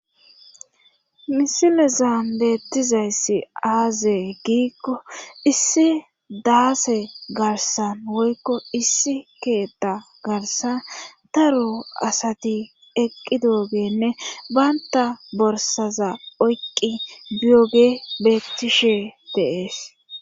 misimezan beettizayssi aazee giikko issi daase garsan woykko issi keetta garsan taro asati eqqi doogenne baynta borsaza oyqqi biyoge bettishe deees